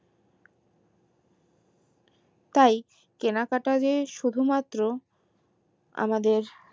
তাই কেনাকাটা যে শুধু মাত্র আমাদের